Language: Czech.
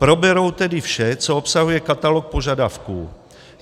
Proberou tedy vše, co obsahuje katalog požadavků.